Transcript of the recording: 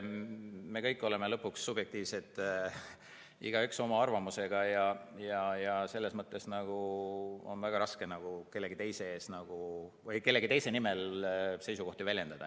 Me kõik oleme lõpuks subjektiivsed, igaüks oma arvamusega, ja selles mõttes on väga raske kellegi teise nimel seisukohti väljendada.